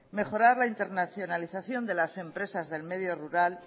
mejorar la internacionalización de las empresas del medio rural